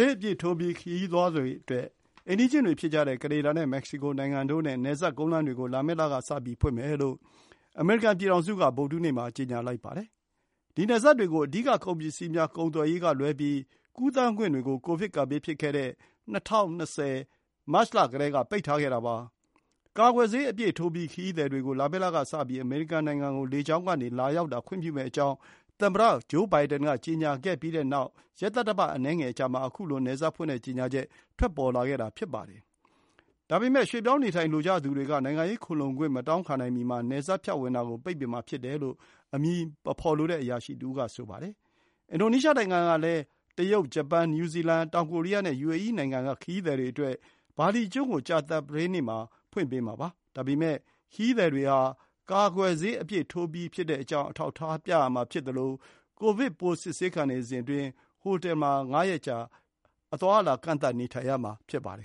ေးအပြည့်ထိုးပြီး ခရီးသွားတွေအတွက် အိမ်နီးချင်းတွေဖြစ်ကြတဲ့ ကနေဒါနဲ့ မက္ကဆီကိုနိုင်ငံတို့နဲ့ နယ်စပ်ကုန်းလမ်းတွေကို လာမယ့်လကစပြီး ဖွင့်မယ်လို့ အမေရိကန် ပြည်ထောင်စုက ဗုဒ္ဓဟူးနေ့မှာ ကြေညာလိုက်ပါတယ်။ ဒီနယ်စပ်တွေကို အဓိက ကုန်ပစ္စည်းများ ကုန်သွယ်ရေးကလွဲပြီး ကူးသန်းခွင့်တွေကို ကိုဗစ် ကပ်ဘေးဖြစ်ခဲ့တဲ့ ၂၀၂၀ ခုနှစ် မတ်လကတည်းက ပိတ်ထားခဲ့တာပါ။ကာကွယ်ဆေး အပြည့် ထိုးပြီး ခရီးသည်တွေကို လာမယ့်လကစပြီး အမေရိကန်နိုင်ငံကို လေကြောင်းကနေ လာရောက်တာ ခွင့်ပြုမယ့်အကြောင်း သမ္မတဂျိုးဘိုင်ဒင်က ကြေညာခဲ့ပြီး ရက်သတ္တပတ် အနည်းငယ် အကြာမှာ ခုလို နယ်စပ်ဖွင့်တဲ့ကြေညာချက် ထွက်ပေါ်လာခဲ့တာ ဖြစ်ပါတယ်။ဒါပေမဲ့ ရွှေ့ပြောင်းနေထိုင်လိုကြသူတွေက နိုင်ငံရေးခိုလှုံခွင့် မတောင်းခံနိုင်မီမှာ နယ်စပ်ဖြတ်ဝင်တာကို ပိတ်ပင် မှာ ဖြစ်တယ်လို့အမည်မဖော်လိုတဲ့အရာရှိတွေက ပြောကြပါတယ်။ အင်ဒိုနီးရှားနိုင်ငံကလည်း China ၊ Japan ၊ New Zealand ၊ South Korea နဲ့ယူအေအီး နိုင်ငံ က ခရီးသည်တွေအတွက် ဘာလီကျွန်းကို ကြာသပတေးမှာ ဖွင့်ပေးမှာပါ။ ဒါပေမဲ့ ခရီးသည်တွေဟာ ကာကွယ်ဆေး အပြည့်ထိုးပြီးကြောင်း အထောက်အထား ပြသရမှာဖြစ်သလို ကိုဗစ်ပိုး စစ်ဆေးခံနေစဉ်အတွင်း ဟိုတယ်မှာ ငါးရက်ကြာ အသွားအလာ ကန့်သတ်နေထိုင်ရမှာ ဖြစ်ပါတယ်